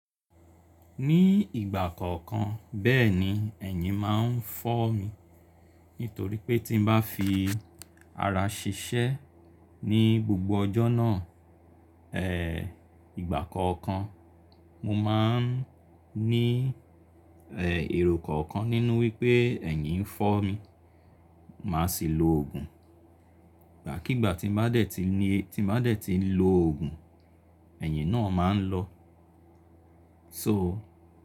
Ní ìgbà kọ̀ọ̀kan, bẹ́ẹ̀ni ẹ̀yin máa ń fọ́ mi. Nítorí pé tí n bá fi ara ṣiṣẹ́ ní gbogbo ọjọ́ náà, eh, ìgbà kọ̀ọ̀kan mo máa ń ní, eh, èrò kọ̀ọ̀kan nínú wípé ẹ̀yin ń fọ́ mi, màá sì lo òògùn. Ìgbàkígbà tí ma dẹ̀ ti ní, tí ma dẹ̀ ti ń lo òògùn, ẹ̀yin náà máa ń lọ. So.